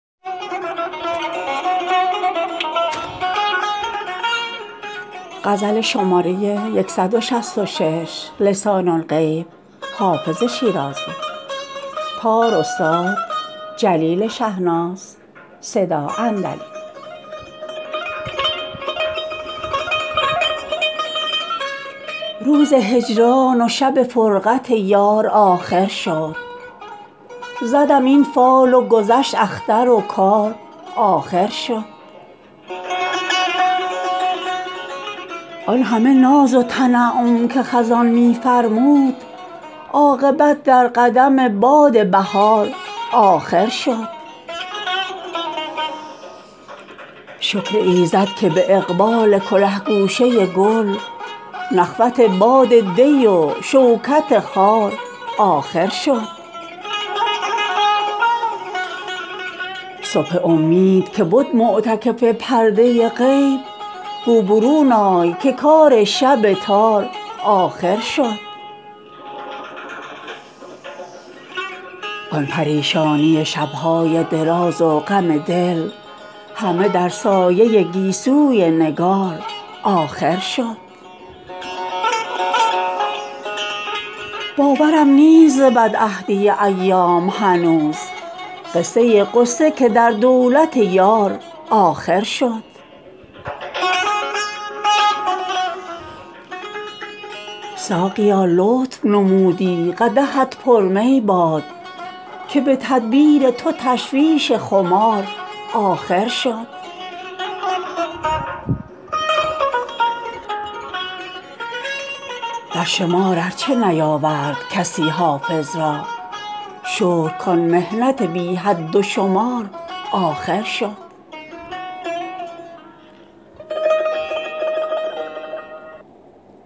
روز هجران و شب فرقت یار آخر شد زدم این فال و گذشت اختر و کار آخر شد آن همه ناز و تنعم که خزان می فرمود عاقبت در قدم باد بهار آخر شد شکر ایزد که به اقبال کله گوشه گل نخوت باد دی و شوکت خار آخر شد صبح امید که بد معتکف پرده غیب گو برون آی که کار شب تار آخر شد آن پریشانی شب های دراز و غم دل همه در سایه گیسوی نگار آخر شد باورم نیست ز بدعهدی ایام هنوز قصه غصه که در دولت یار آخر شد ساقیا لطف نمودی قدحت پر می باد که به تدبیر تو تشویش خمار آخر شد در شمار ار چه نیاورد کسی حافظ را شکر کان محنت بی حد و شمار آخر شد